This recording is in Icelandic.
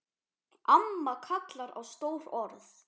Amma kallar á stór orð.